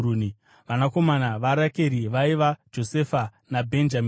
Vanakomana vaRakeri vaiva: Josefa naBhenjamini.